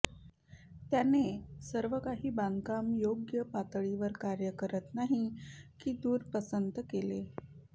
त्याने सर्व काही बांधकाम योग्य पातळीवर कार्य करत नाही की दूर पसंत केले